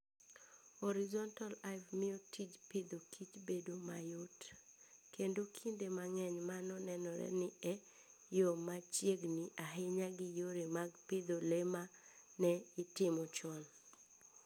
Horizontal Hive miyo tij Agriculture and Food bedo mayot, kendo kinde mang'eny mano nenore ni e yo machiegni ahinya gi yore mag pidho le ma ne itimo chon.